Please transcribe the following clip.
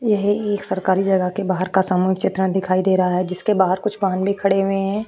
यह एक सरकारी जगह पर बाहर का सामान चित्रण दिखाई दे रहा है। जिसके बाहर कुछ वाहन भी खड़े हुए हैं।